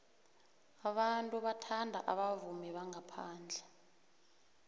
abantu bathanda abavumi bangaphandle